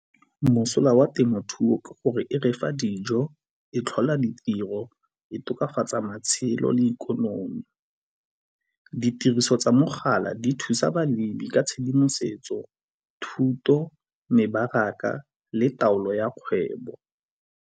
Mosola wa temothuo ke gore e refa dijo, e tlhola ditiro, e tokafatsa matshelo le ikonomi. Ditiriso tsa mogala di thusa balemi ka tshedimosetso, thuto, mebaraka le taolo ya kgwebo.